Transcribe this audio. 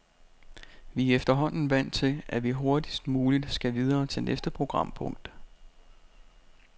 Vi er efterhånden vant til, at vi hurtigst muligt skal videre til næste programpunkt.